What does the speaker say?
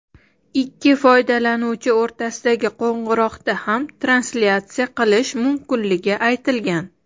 ikki foydalanuvchi o‘rtasidagi qo‘ng‘iroqda ham translyatsiya qilish mumkinligi aytilgan.